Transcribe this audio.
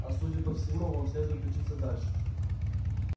а судя по всему вам следует учиться дальше